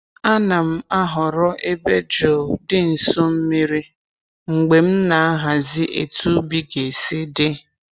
A na'm-ahọrọ ebe jụụ di nso mmiri mgbe m na-ahazi etu ubi ga-esi dị.